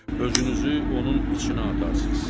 Özünüzü onun içinə atarsız.